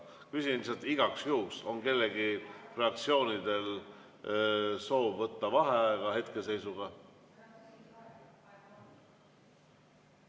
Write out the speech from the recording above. Küsin lihtsalt igaks juhuks, kas mõnel fraktsioonil on hetkeseisuga soovi võtta vaheaega.